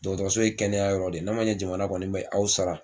Dɔgɔtɔrɔso ye kɛnɛya yɔrɔ de, n'a ma ɲɛ jamana kɔni bɛ aw sara